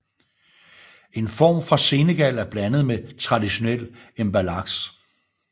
En form fra Senegal er blandet med traditionel mbalax